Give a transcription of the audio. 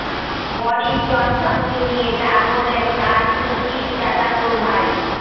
Boris জনসনকে নিয়ে যা বললেন তার তুর্কিশ চাচাতো ভাই